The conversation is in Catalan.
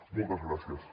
moltes gràcies